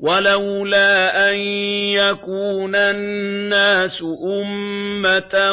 وَلَوْلَا أَن يَكُونَ النَّاسُ أُمَّةً